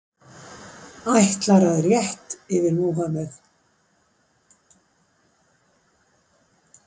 Ætlar að rétt yfir Múhammeð